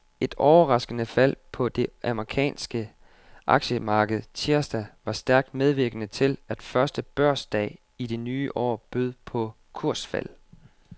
Et overraskende fald på det amerikanske aktiemarked tirsdag var stærkt medvirkende til, at første børsdag i det nye år bød på kursfald.